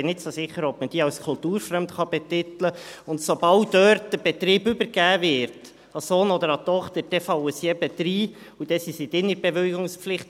Ich bin nicht so sicher, ob man diese als kulturfremd betiteln kann, und sobald dort der Betrieb an den Sohn oder die Tochter übergeben wird, dann fallen sie eben rein, und dann sind sie in der Bewilligungspflicht.